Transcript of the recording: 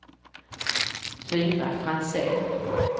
Tyra Franzén